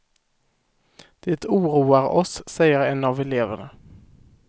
Det oroar oss, säger en av eleverna.